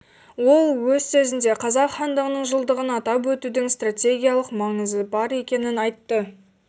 ол өз сөзінде қазақ хандығының жылдығын атап өтудің стратегиялық маңызы бар екенін айтты